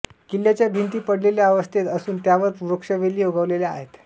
किल्ल्याच्या भिंती पडलेल्या अवस्थेत असून त्यांवर वृक्षवेली उगवलेल्या आहेत